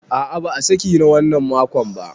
A a ba a saki na wannan makon ba.